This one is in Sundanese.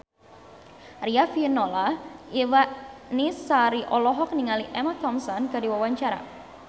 Riafinola Ifani Sari olohok ningali Emma Thompson keur diwawancara